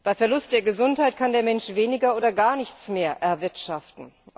Bei Verlust der Gesundheit kann der Mensch weniger oder gar nichts mehr erwirtschaften.